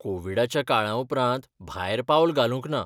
कोविडाच्या काळा उपरांत भायर पावल घालूंक ना.